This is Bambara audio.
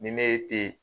Ni ne ye te